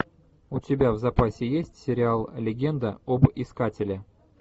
у тебя в запасе есть сериал легенда об искателе